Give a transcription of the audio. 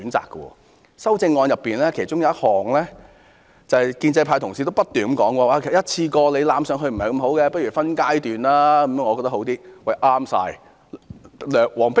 在多項修正案中，其中有一項是建制派議員也不斷提及的，便是一次過增加其實不太好，倒不如分階段進行。